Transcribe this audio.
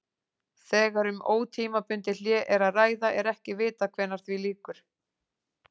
Þegar um ótímabundið hlé er að ræða er ekki vitað hvenær því lýkur.